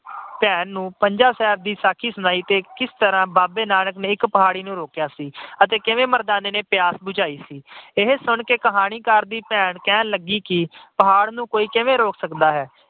ਭੈਣ ਨੂੰ ਪੰਜਾ ਸਾਹਿਬ ਦੀ ਸਾਕੀ ਸੁਣਾਈ ਕਿ ਬਾਬੇ ਨਾਨਕ ਨੇ ਕਿਵੇਂ ਪਹਾੜੀ ਨੂੰ ਇਕ ਪੰਜੇ ਨਾਲ ਰੋਕਿਆ ਸੀ ਅਤੇ ਕਿਵੇਂ ਮਰਦਾਨੇ ਦੀ ਪਿਆਸ ਬੁਝਾਈ ਸੀ। ਇਹ ਸੁਣ ਕੇ ਕਹਾਣੀਕਾਰ ਦੀ ਭੈਣ ਕਹਿਣ ਲੱਗੀ ਕਿ ਪਹਾੜ ਨੂੰ ਕੋਈ ਕਿਵੇਂ ਰੋਕ ਸਕਦਾ ਹੈ।